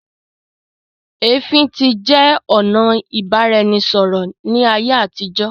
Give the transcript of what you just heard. ẹfin tí jẹ ọnà ibaraẹnisọrọ l'aiye àtijọ.